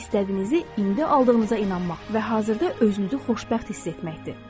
İstədiyinizi indi aldığınıza inanmaq və hazırda özünüzü xoşbəxt hiss etməkdir.